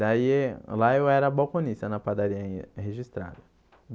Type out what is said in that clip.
Daí, lá eu era balconista na padaria registrada.